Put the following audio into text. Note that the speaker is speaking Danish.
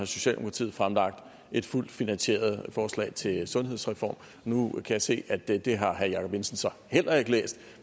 socialdemokratiet fremlagt et fuldt finansieret forslag til en sundhedsreform nu kan jeg se at det det har herre jacob jensen så heller ikke læst